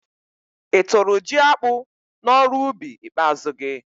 I tụ́rụ jiakpụ n'ọrụubi ikpeazụ gị?